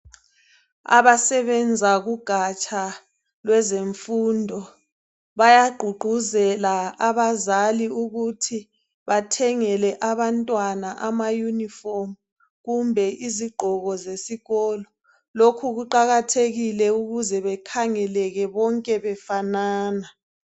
Abasebenza kugatsha lwezemfundo bayagqugquzela abazali ukuthi bathengele abantwana amayunifomu kumbe izigqoko zesikolo. Lokhu kuqakathekile ukuze bekhangeleke bonke befanana.